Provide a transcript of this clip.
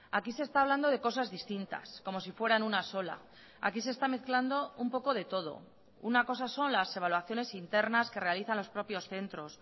aquí se está hablando de cosas distintas como si fueran una sola aquí se está mezclando un poco de todo una cosa son las evaluaciones internas que realizan los propios centros